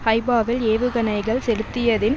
ஹைபாவில் ஏவுகணைகள் செலுத்தியதின்